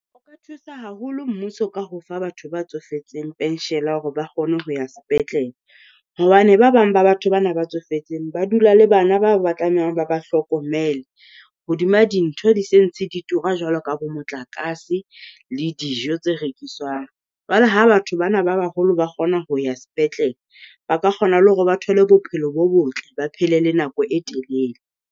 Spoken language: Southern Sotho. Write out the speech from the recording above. O ka thusa haholo mmuso ka ho fa batho ba tsofetseng hore ba kgone ho ya sepetlele, hobane ba bang ba batho bana ba tsofetseng ba dula le bana ba ba tlamehang ba ba hlokomele hodima dintho di se ntse di tura jwalo ka bo motlakase le dijo tse rekiswang. Jwale ha batho bana ba baholo ba kgona ho ya sepetlele, ba ka kgona le hore ba thole bophelo bo botle ba phele le nako e telele.